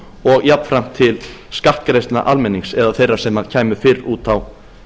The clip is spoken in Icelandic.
og jafnframt til skattgreiðslna almennings eða þeirra sem kæmu fyrr út á